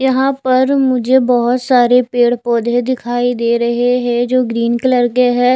यहां पर मुझे बहोत सारे पेड़ पौधे दिखाई दे रहे हैं जो ग्रीन कलर के है।